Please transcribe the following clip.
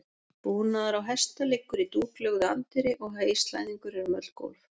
Búnaður á hesta liggur í dúklögðu anddyri og heyslæðingur er um öll gólf.